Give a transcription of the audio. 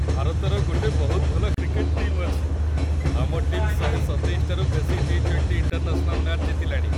ଭାରତର ଗୋଟେ ବହୁତ ଭଲ କ୍ରିକେଟ୍ ଟିମ୍‌ ଅଛି । ଆମ ଟିମ୍‌ ୧୨୭ଟାରୁ ବେଶି ଟି-20 ଇଣ୍ଟରନ୍ୟାସନାଲ୍‌ ମ୍ୟାଚ୍ ଜିତିଲାଣି ।